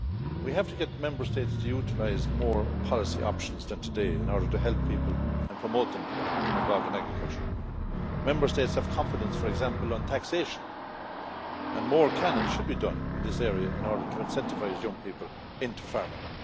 We have to get the Member States to utilise more policy options than today in order to help people and encourage them to become involved in agriculture. Member States have competence, for example, on taxation, and more can and should be done in this area in order to incentivise young people into farming.